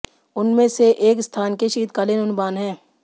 उनमें से एक स्थान के शीतकालीन अनुमान है